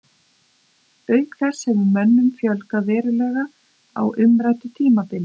Auk þess hefur mönnum fjölgað verulega á umræddu tímabili.